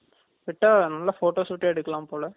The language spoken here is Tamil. விட்டா அங்க photo shoot டே எடுக்கலாம் போல